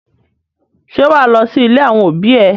Ṣé wà á lọ sí ilé àwọn òbí ẹ?